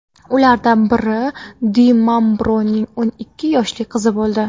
Ulardan biri Di Mambroning o‘n ikki yoshli qizi bo‘ldi.